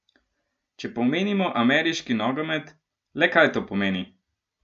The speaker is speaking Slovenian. Če pa omenimo ameriški nogomet, le kaj to pomeni?